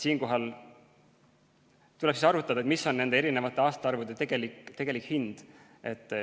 Siinkohal tuleb arvutada, mis on nende eri aastaarvude tegelik hind.